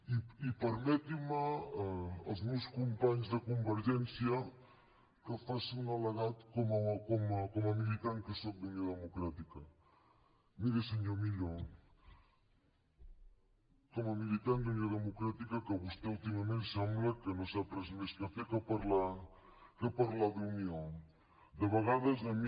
i permetin me els meus companys de convergència que faci un al·legat com a militant que sóc d’unió democràtica miri senyor millo com a militant d’unió democràtica que vostè últimament sembla que no sap fer res més que parlar d’unió de vegades a mi